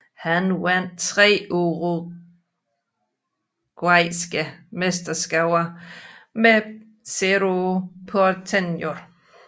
Han vandt tre paraguayanske mesterskaber med Cerro Porteño